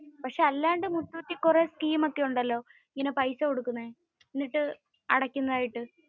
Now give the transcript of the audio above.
പക്ഷെ അല്ലാണ്ട് മുത്തൂറ്റിൽ കുറെ scheme ഒക്കെ ഉണ്ടല്ലേ. ഇങ്ങനെ പൈസ കൊടുക്കുന്നെ. എന്നിട്ടു അടയ്ക്കുന്നതായിട്ടു.